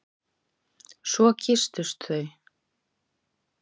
Svo kysstust þau.